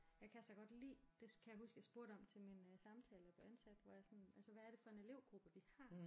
Jeg kan så godt lide det kan jeg huske jeg spurgte om til min øh samtale da jeg blev ansat hvor jeg sådan altså hvad er det for en elevgruppe vi har